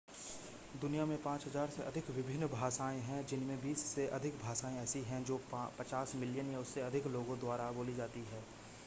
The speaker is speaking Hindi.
दुनिया में 5,000 से अधिक विभिन्न भाषाएं हैं जिनमें बीस से अधिक भाषाएं ऐसी हैं जो 50 मिलियन या उससे अधिक लोगो द्वारा बोली जाती हैं